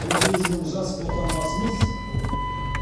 он сегіз мың жас отандасымыз